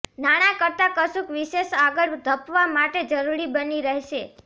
નાણાં કરતાં કશુંક વિશેષ આગળ ધપવા માટે જરૂરી બની રહેશે